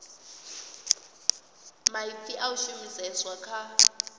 maipfi a a shumiseswa kha